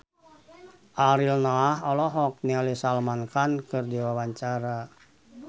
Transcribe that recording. Ariel Noah olohok ningali Salman Khan keur diwawancara